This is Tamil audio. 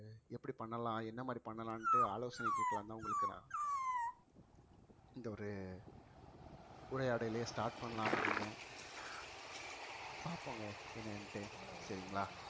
எப்படி பண்ணலாம் என்ன மாதிரி பண்ணலாம்ன்னுட்டு ஆலோசனை கேட்கலாம்ன்னுதான் உங்களுக்கு நான் இந்த ஒரு உரையாடலையே start பண்ணலான்னு இருந்தேன் பாப்போங்க என்னான்ட்டு சரிங்களா